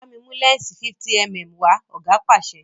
bámi mú lẹnsi 50mm wa! oga pàṣẹ